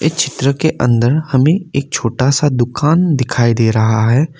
इस चित्र के अंदर हमें एक छोटा सा दुकान दिखाई दे रहा है।